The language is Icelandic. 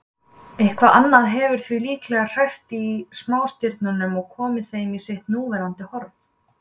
Eitthvað annað hefur því líklega hrært í smástirnunum og komið þeim í sitt núverandi horf.